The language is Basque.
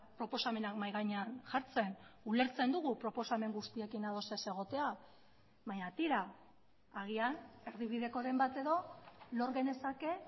proposamenak mahai gainean jartzen ulertzen dugu proposamen guztiekin ados ez egotea baina tira agian erdibidekoren bat edo lor genezake